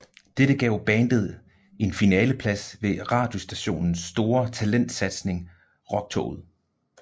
Dette gav bandet en finaleplads ved radiostationens store talentsatsning Rocktoget